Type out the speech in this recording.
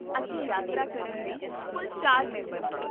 ਅਸੀਂ ਯਾਤਰਾ ਕਰਨ ਲਈ ਕੁੱਲ ਚਾਰ ਮੈਂਬਰ ਹਾਂ